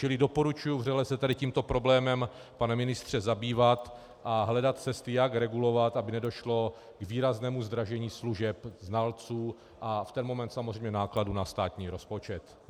Čili doporučuji vřele se tady tímto problémem, pane ministře, zabývat a hledat cesty, jak regulovat, aby nedošlo k výraznému zdražení služeb znalců a v ten moment samozřejmě nákladů na státní rozpočet.